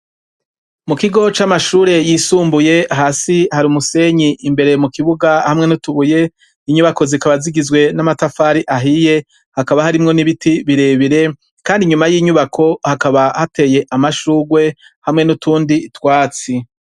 Mukigo camashure yisumbuye hasi hari umusenyi imbere mukibuga hamwe nutubuye inyubako zikaba zigizwe namatafari ahiye hakaba harimwo nibiti birebire kandi inyuma yinyubako hakaba hateye amashurwe hamwe nutundi twatsi